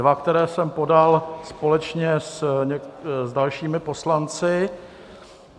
Dva, které jsem podal společně s dalšími poslanci.